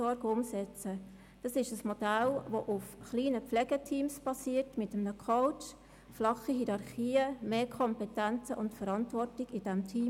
Dieses basiert auf kleinen Pflegeteams mit einem Coach, flachen Hierarchien sowie mehr Kompetenzen und Verantwortung im Team.